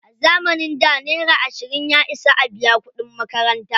A zamanin da, naira ashirin ya isa a biya kuɗin makaranta.